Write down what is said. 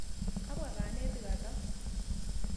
Kapwa kanetik atau?